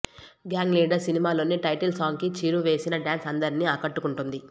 gang Leader సినిమాలోని title song కి చిరు వేసిన డాన్స్ అందరిని ఆకట్టుకుంది